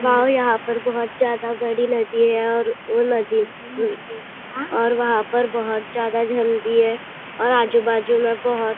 वाव यहां पर बहुत ज्यादा बड़ी नदी है यहाँ और वो नदी भी और वहां बहुत ज्यादा भी है और आजू बाजू में बहुत --